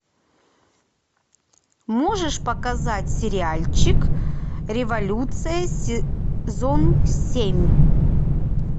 можешь показать сериальчик революция сезон семь